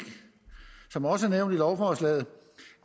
som også er nævnt i lovforslaget